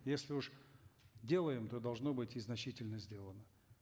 если уж делаем то должно быть и значительно сделано